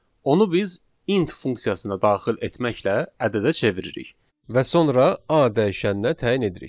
Onu biz int funksiyasına daxil etməklə ədədə çeviririk və sonra A dəyişəninə təyin edirik.